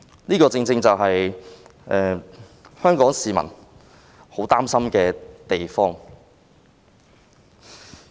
這個正正是香港市民很擔心的地方。